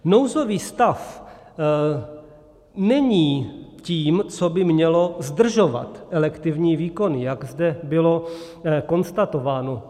Nouzový stav není tím, co by mělo zdržovat elektivní výkony, jak zde bylo konstatováno.